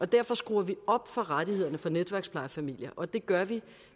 derfor skruer vi op for rettighederne for netværksplejefamilier og det gør vi